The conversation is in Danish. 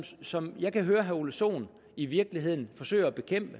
som jeg kan høre herre ole sohn i virkeligheden forsøger at bekæmpe